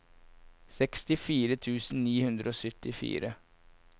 sekstifire tusen ni hundre og syttifire